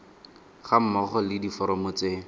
ga mmogo le diforomo tse